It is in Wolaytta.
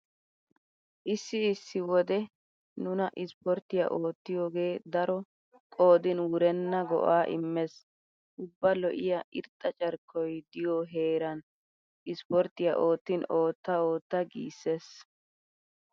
Issi issi wode nuna ispporttiya oottiyogee daro qoodin wurenna go'aa immees. Ubba lo'iya irxxa carkkoy diyo heeran ispporttiya oottin ootta ootta giissees.